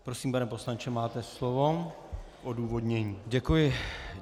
Prosím, pane poslanče, máte slovo k odůvodnění.